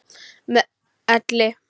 Með elli.